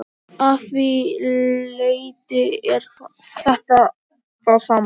Að því leyti er þetta það sama.